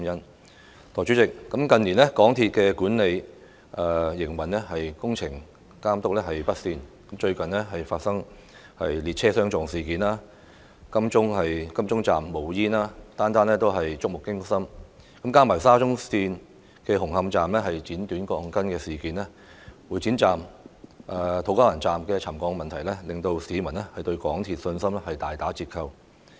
代理主席，近年港鐵公司管理不善，工程監督表現未如人意，最近發生列車相撞及金鐘站冒煙等事故，每宗都觸目驚心；加上沙田至中環綫紅磡站爆出"剪短鋼筋"事件，會展站及土瓜灣站又出現沉降問題，令市民對港鐵公司的信心大打折扣。